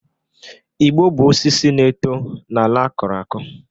Igbo bụ osisi na-eto n'ala a kụrụ akụ